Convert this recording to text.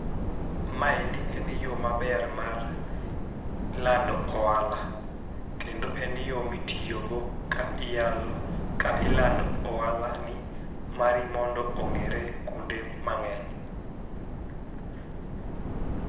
Ma endi en e yoo maber mar lando ohala kendo en yoo ma itiyogo ka iyalo ka ilando ohala ni mari mondo ong'ere kuonde mang'eny.